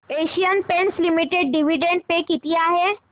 Asian Paints Limited dividend pay किती आहे